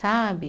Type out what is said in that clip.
Sabe?